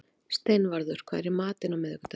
Steinvarður, hvað er í matinn á miðvikudaginn?